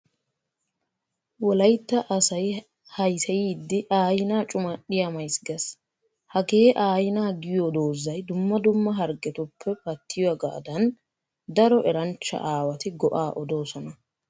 Wolayitta asay hayiseyiiddi aaina cumadhiya mayis ges. Hagee aaina giyo doozay dumma dumma hagrggetuppee pattiyogaadan daro eranchcha aawati go'aa odoosona.